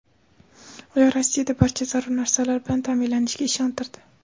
ular Rossiyada barcha zarur narsalar bilan ta’minlanishiga ishontirdi.